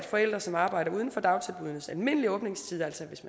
forældre som arbejder uden for dagtilbuddenes almindelige åbningstid altså hvis